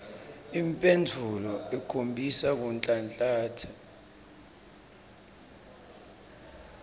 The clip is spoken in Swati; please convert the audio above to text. imphendvulo ikhombisa kunhlanhlatsa